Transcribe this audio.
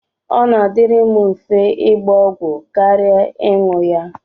Ọ na-adịrị m mfe ịgba ọgwụ kara ịṅụ ya.